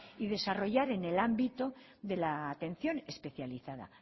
y desarrollar en el ámbito de la atención especializada